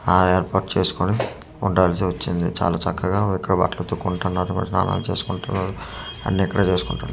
ఆ ఏర్పాటు చేస్కొని ఉండాల్సి వచ్చింది చాలా చక్కగా ఇక్కడ బట్టలు ఉతుక్కుంటున్నారు మరి స్నానాలు చేస్కుంటున్నారు అన్నీ ఇక్కడే చేస్కుంటున్నా--